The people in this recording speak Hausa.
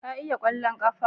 Ka iya kwallon kwando?